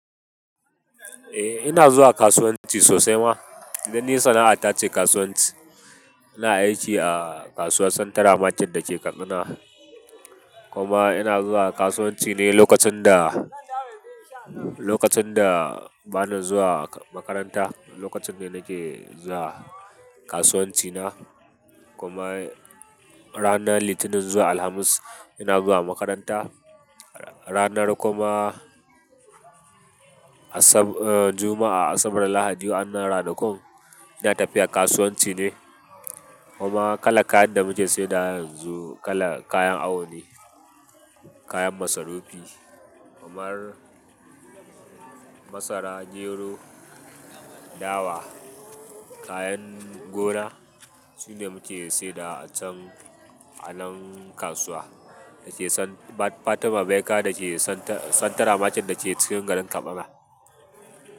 Eh ina zuwa kasuwanci sosai ma, don ni sana'ata ce kasuwanci. Ina aiki a kasuwar central Market da ke Katsina. Kuma ina zuwa kasuwanci ne lokacin da, lokacin da bana zuwa makaranta, lokacin ne nake zuwa kasuwanci na. Kuma ranar Litinin zuwa Alhamis ina zuwa makaranta. Ranar kuma Asab-- eh Juma'a, Asabar Lahadi waannan ranakun ina tafiya kasuwanci ne. Kuma kalar kayan da muke saidawa yanzu kala kayan awo ne, kayan masarufi, kamar masara, gero, dawa, kayan gona. Su ne muke saidawa a can a nan kasuwa da ke San-- Fatima Baika da ke central Market da ke cikin garin Katsina.